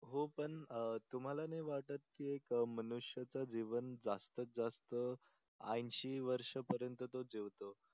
हो पण तुम्हाला नाही कि एक मनुष्यचे जीवन जास्तीत जास्त ऐशी वर्ष पर्यंत तो जीवतो.